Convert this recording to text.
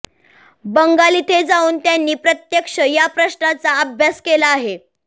बंगाल इथे जाऊन त्यांनी प्रत्यक्ष या प्रश्नाचा अभ्यास केला आहे